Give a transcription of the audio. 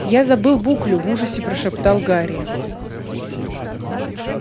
я забыл буклю в ужасе прошептал гарри